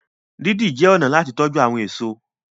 didi jé ọnà láti tọjú àwọn èso.